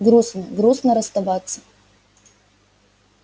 грустно грустно расставаться